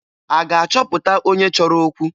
A ga-achọpụta onye chọrọ okwu?